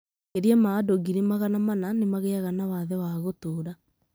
Makĩria ma andũ ngiri magana mana nĩ magĩaga na wathe wa gũtũũra